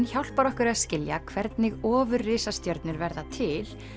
hjálpar okkur að skilja hvernig verða til